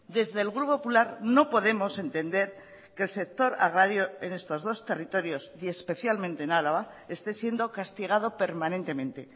desde el grupo popular no podemos entender que el sector agrario en estos dos territorios y especialmente en álava esté siendo castigado permanentemente